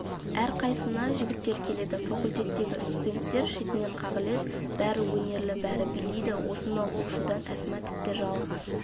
әрқайсына жігіттер келеді факультеттегі студенттер шетінен қағылез бәрі өнерлі бәрі билейді осынау у-шудан әсма тіпті жалыға